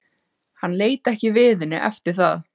Hann leit ekki við henni eftir það.